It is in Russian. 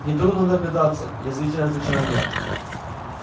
нетрудно догадаться язвительно отвечаю я